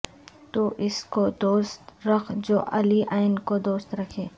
تو اس کو دوست رکھ جو علی ع کو دوست رکھے